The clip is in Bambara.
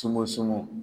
Sungu sungun